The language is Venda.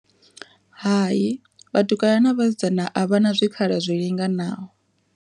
Hai vhatukana na vhasidzana a vha na zwikhala zwo linganaho.